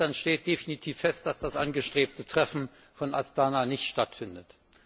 Seit gestern steht definitiv fest, dass das angestrebte Treffen von Astana nicht stattfindet.